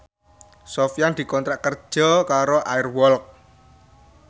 Sofyan dikontrak kerja karo Air Walk